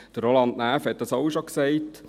Roland Näf hat dies auch schon gesagt.